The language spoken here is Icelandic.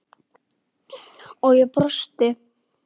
og ég brosti.